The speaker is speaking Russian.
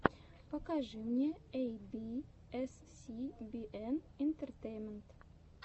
покажи мне эй би эс си би эн интертеймент